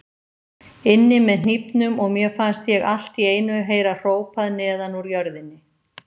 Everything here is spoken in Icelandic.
inni með hnífnum og mér fannst ég allt í einu heyra hrópað neðan úr jörðinni.